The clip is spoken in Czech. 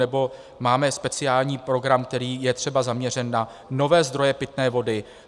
Nebo máme speciální program, který je třeba zaměřen na nové zdroje pitné vody.